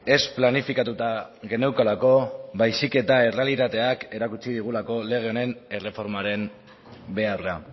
ez planifikatuta geneukalako baizik eta errealitateak erakutsi digulako lege honen erreformaren beharra